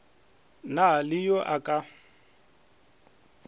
na le yo a ka